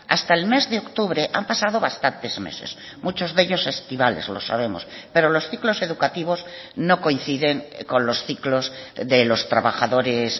hasta el mes de octubre han pasado bastantes meses muchos de ellos estivales lo sabemos pero los ciclos educativos no coinciden con los ciclos de los trabajadores